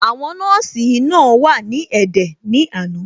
Àwọn nọ́ọ̀sì náà wà ní ẹ̀dẹ̀ ní àná.